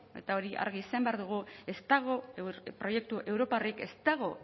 eta hori argi izan behar dugu ez dago proiektu europarrik ez dago